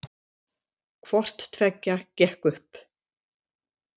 Hvorttveggja gekk upp